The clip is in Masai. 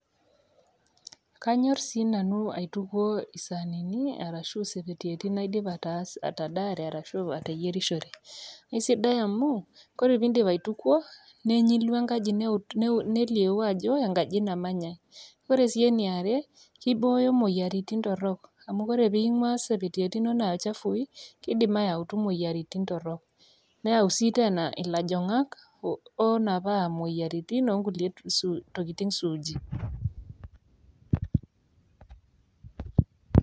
Kaanyor sii nanu aitukuo isaanini ashu isepetieti naidipa atadaare arashu ateyierishore. Aisidai amu ore pee indip aitukwo nenyilu enkaji neliou ajo enkaji namanyai. Ore sii ene are keiboyo imoyiaritin torok amu kore ee ingwaa isepetieti inono aa chafui keidim ayautu imoyiaritin torok. Neyau sii teena ilajang'ak oonapaa imoyiaritin o kulie tokitin suuji.